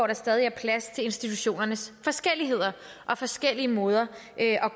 der stadig er plads til institutionernes forskelligheder og forskellige måder at